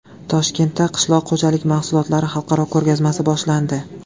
Toshkentda qishloq xo‘jalik mahsulotlari xalqaro ko‘rgazmasi boshlandi.